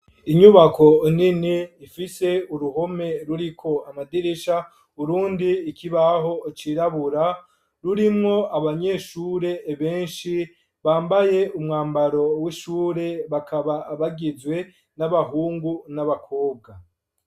Inyubako nini ifise uruhome ruriko amadirisha urundi ikibaho cirabura rurimwo abanyeshure beshi bambaye umwambaro w'ishure bakaba bagizwe n'abahungu n'abakobwa